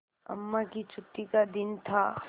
अम्मा की छुट्टी का दिन था